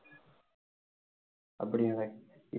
அப்படியா